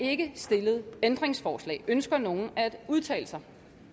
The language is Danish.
er ikke stillet ændringsforslag ønsker nogen at udtale sig